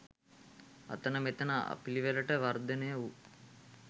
අතන මෙතන අපිළිවෙලට වර්දනය වූ